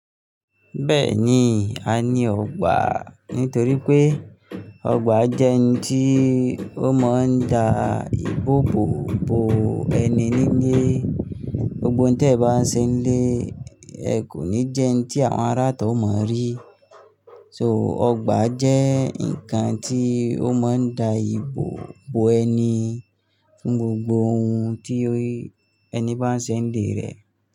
Bẹ́ẹ̀ni, a ní ọ̀gbà nítorí pé ọ̀gbà jẹ́ n tí ó mọ́ ń da ìbò bóbo ẹni nílé. Gbogbo ohun tí ẹ bá ń ṣe nílé, ẹ kò ní jẹ́ ẹ́ni tí àwọn ará ita ọ mọ̀ rí. So ọ̀gbà jẹ́ ǹkan tí ó mọ́ ń da ìbò bóbo ẹni fún gbogbo ohun tí ẹni bá ń ṣe n lé rẹ̀